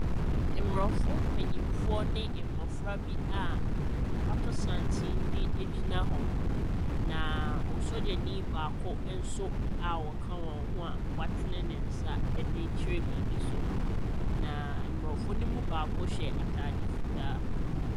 Mmrɔfo mpayimfoɔ ne mmɔfra bi a wɔato santen de gyina hɔ. Na osogyani nso baako a ɔka ho a watene ne nsa ɛde rekyerɛ biribi so. Na mmorɔfo no mu baako hyɛ ataade fitaa.